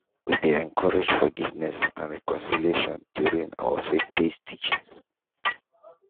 we dey encourage forgiveness and reconciliation during our faithbased teachings